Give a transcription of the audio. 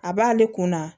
A b'ale kun na